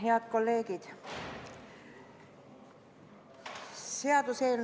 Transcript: Head kolleegid!